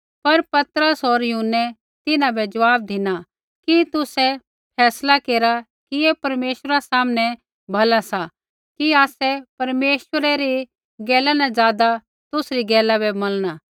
पर पतरस होर यूहन्नै तिन्हां बै ज़वाब धिना कि तुसै फैसला केरा कि ऐ परमेश्वरा सामनै भला सा कि आसै परमेश्वरै री गैला न ज़ादा तुसरी गैला बै मनला